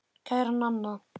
Kæra Nanna.